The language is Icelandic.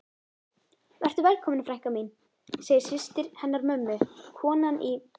Vertu velkomin frænka mín, segir systir hennar mömmu, konan í